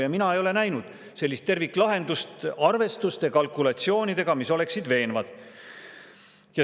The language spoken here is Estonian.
Ja mina ei ole näinud sellist terviklahendust arvestuste ja kalkulatsioonidega, mis oleksid veenvad.